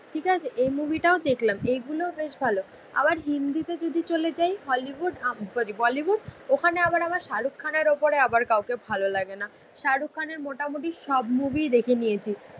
ঠিক আছে. এই মুভিটাও দেখলাম. এইগুলোও বেশ ভালো. আবার হিন্দিতে যদি চলে যাই. হলিউড আপ করে. বলিউড. ওখানে আবার আমার শাহরুখ খানের ওপরে আবার কাউকে ভালো লাগে না. শাহরুখ খানের মোটামুটি সব মুভি দেখে নিয়েছি